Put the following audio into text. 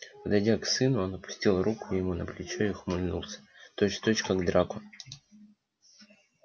подойдя к сыну он опустил руку ему на плечо и ухмыльнулся точь в точь как драко